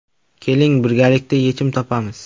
Keling birgalikda yechim topamiz.